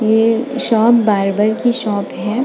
ये shop barber की shop है।